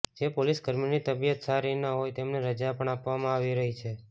જે પોલીસકર્મીની તબિયત સારી ન હોય તેમને રજા પણ આપવામાં આવી રહી છે